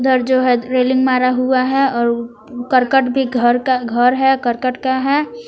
इधर जो है रेलिंग मारा हुआ है और करकट के घर का घर है करकट का है।